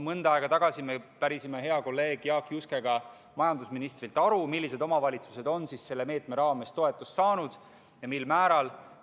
Mõnda aega tagasi me pärisime hea kolleegi Jaak Juskega majandusministrilt aru, millised omavalitsused on selle meetme raames toetust saanud ja mil määral.